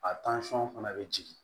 A fana bɛ jigin